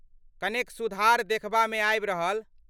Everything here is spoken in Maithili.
कनेक सुधार देखबा में आबि रहल।